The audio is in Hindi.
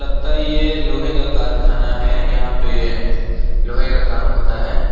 लगता है ये लोहे का कारखाना है यहां पे लोहे का काम होता है।